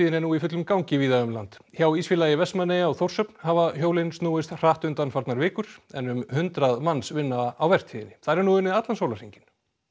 er nú í fullum gangi víða um land hjá Ísfélagi Vestmannaeyja á Þórshöfn hafa hjólin snúist hratt undanfarnar vikur en um hundrað manns vinna á vertíðinni þar er nú unnið allan sólarhringinn